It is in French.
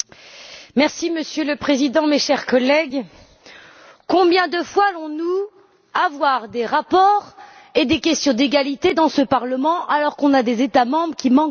Monsieur le Président, mes chers collègues, combien de fois allons nous avoir des rapports et des questions sur l'égalité dans ce Parlement, alors que nous avons des États membres qui manquent de courage?